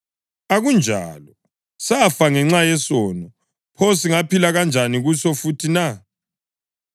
Akunjalo! Safa ngenxa yesono; pho singaphila kanjani kuso futhi na?